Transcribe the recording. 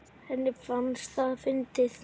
Henni fannst það fyndið.